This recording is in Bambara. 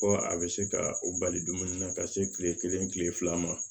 Ko a bɛ se ka o bali dumuni na ka se tile kelen tile fila ma